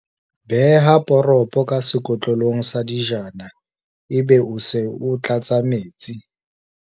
beha poropo ka sekotlolong sa dijana ebe o se tlatsa metsi